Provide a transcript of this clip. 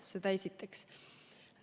Seda esiteks.